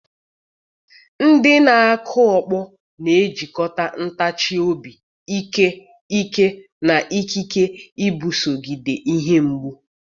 Ndị na-akụ ọkpọ na-ejikọta ntachi obi, ike, ike, na ikike iguzogide ihe mgbu